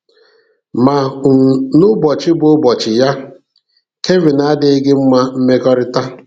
Ma um n'ụbọchị bụ ụbọchị ya, Kevin adịghị gị mma mmekọrịta.